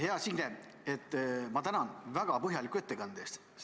Hea Signe, ma tänan väga põhjaliku ettekande eest!